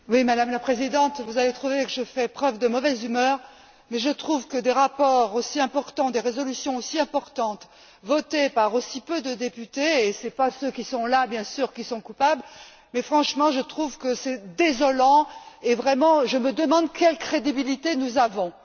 Madame la Présidente, vous allez trouver que je fais preuve de mauvaise humeur, mais je trouve que des rapports aussi importants, des résolutions aussi importantes votées par aussi peu de députés et ce ne sont pas ceux qui sont là, bien sûr, qui sont coupables franchement, je trouve que c'est désolant et vraiment je me demande quelle crédibilité nous avons.